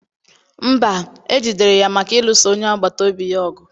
mba, e jidere ya maka ịlụso onye agbata obi ya ọgụ.